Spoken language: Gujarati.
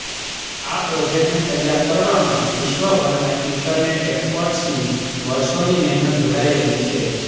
આ પ્રોજેક્ટને તૈયાર કરવામાં વિશ્વભરના ઇન્ટરનેટ એકસપર્ટ્સની વર્ષોની મહેનત જોડાયેલી છે